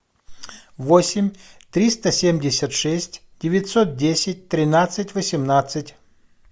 восемь триста семьдесят шесть девятьсот десять тринадцать восемнадцать